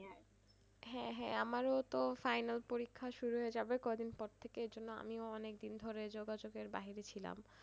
হ্যাঁ হ্যাঁ আমারও তো final পরীক্ষা শুরু হয়েযাবে কদিনপর থেকে এজন্য আমিও অনেকদিন ধরে যোগাযোগের বাহিরে ছিলাম।